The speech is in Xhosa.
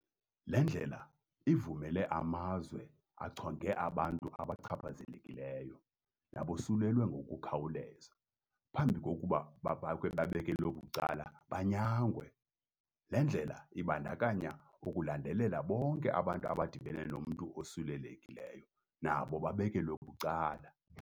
Le ndlela ivumele amazwe achonge abantu abachaphazelekileyo nabosulelwe ngokukhawuleza, phambi kokuba babekelwe bucala banyangwe. Le ndlela ibandakanya ukulandelela bonke abantu abadibene nomntu osulelekileyo, nabo babekelwe bucala.